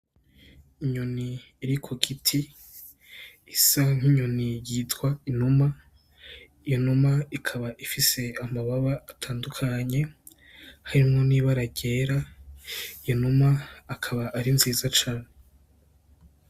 Inyoni iri kugiti isa nk'inyoni yitwa inuma, iyo numa ikaba ifise amababa atandukanye harimwo n'ibara ryera iyo numa akaba ari nziza cane.